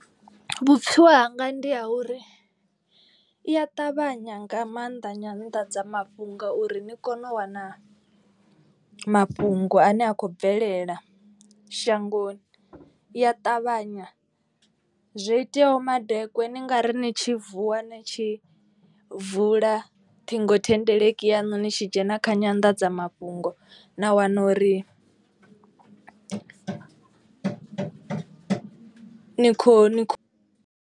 Vhupfhiwa hanga ndi ha uri i a ṱavhanya nga maanḓa nyanḓadzamafhungo uri ni kone u wana mafhungo ane a kho bvelela shangoni. I ya ṱavhanya zwo iteaho madekwe ni ngari ni tshi vuwa ni tshi vula ṱhingothendeleki yaṋu ni tshi dzhena kha nyandadzamafhungo na wana uri nikho.